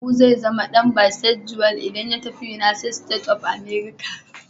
Abu zai zama dan bisexual idan ya tafi United States of America.